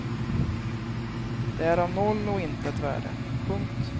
Den är av noll och intet värde. punkt